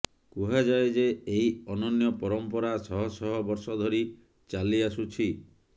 କୁହାଯାଏ ଯେ ଏହି ଅନନ୍ୟ ପରମ୍ପରା ଶହଶହ ବର୍ଷ ଧରି ଚାଲିଆସୁଛି